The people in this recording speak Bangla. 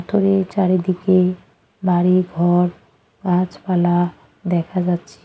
পাথরের চারিদিকে বাড়িঘর গাছপালা দেখা যাচ্ছে।